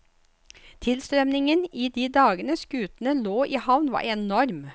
Tilstrømmingen i de dagene skutene lå i havn var enorm.